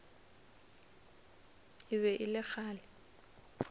e be e le kgale